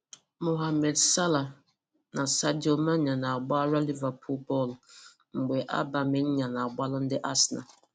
Mohammed Salah na Sadio Mane na-agbara Liverpool bọọlụ ebe Aubameyang na-agbara ndị Arsenal.